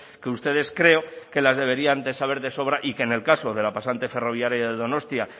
que ustedes creo que las deberían de saber de sobra y que en el caso de la pasante ferroviaria de donostia